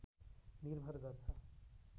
निर्भर गर्छ